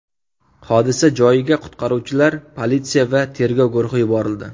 Hodisa joyiga qutqaruvchilar, politsiya va tergov guruhi yuborildi.